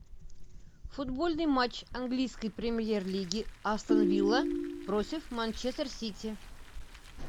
футбольный матч английской премьер лиги астон вилла против манчестер сити